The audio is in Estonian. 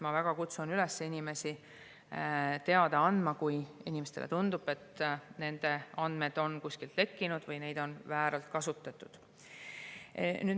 Ma väga kutsun üles inimesi teada andma, kui kellelegi tundub, et tema andmed on kuskilt lekkinud või neid on vääralt kasutatud.